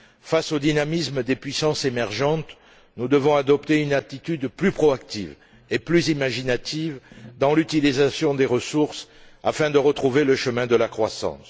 Face au dynamisme des puissances émergentes, nous devons adopter une attitude plus proactive et plus imaginative dans l'utilisation des ressources afin de retrouver le chemin de la croissance.